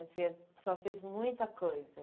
Assim, a senhora fez muita coisa.